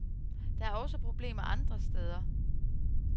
Der er også problemer andre steder.